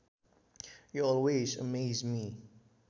You always amaze me